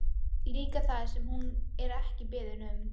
Líka það sem hún er ekki beðin um.